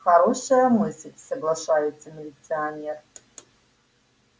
хорошая мысль соглашается милиционер